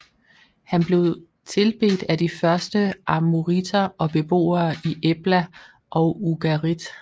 Han blev tilbedt af de første amoriter og beboerne i Ebla og Ugarit